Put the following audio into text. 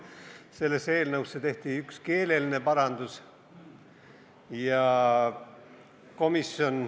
Sellesse eelnõusse tehti üks keeleline parandus.